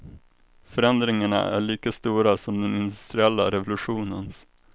Förändringarna är lika stora som den industriella revolutionens.